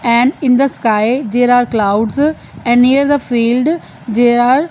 and in the sky there are clouds and near the field there are --